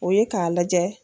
O ye k'a lajɛ.